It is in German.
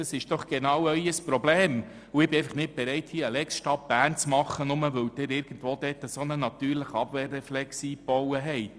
Das ist doch genau Ihr Problem, und ich bin nicht bereit, hier eine Lex Stadt Bern zu machen, nur weil Sie einen Abwehrreflex eingebaut habt.